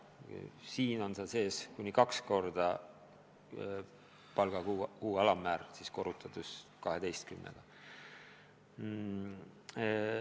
Eelnõus on see sees kuni kahekordne kuupalga alammäär, aastas siis korrutades 12-ga.